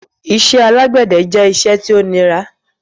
Ìṣẹ̀ alágbèdẹ̀ jẹ̀ ìṣẹ̀ tí o ní rà